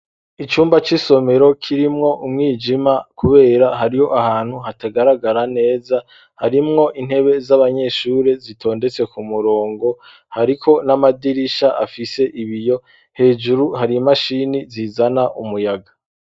Icumba c,Isomero kirimwo umwijima kubera hariho ahantu hatagaragara neza, harimwo intebe z'abanyeshure zitondetse ku murongo ,hariko n'amadirisha afise ibiyo hejuru har, imashini zizana umuyaga.